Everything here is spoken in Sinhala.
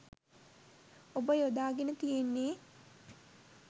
ඔබ යොදා ගෙන තියෙන්නේ